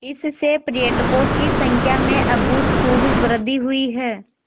इससे पर्यटकों की संख्या में अभूतपूर्व वृद्धि हुई है